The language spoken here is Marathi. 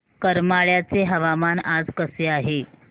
करमाळ्याचे हवामान आज कसे आहे